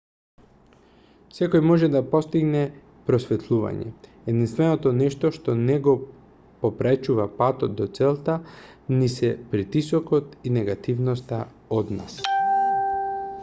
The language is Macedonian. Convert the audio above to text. секој може да постигне просветлување единственото нешто што ни го попречува патот до целта ни се притисокот и негативноста од нас